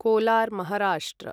Kolar Maharashtra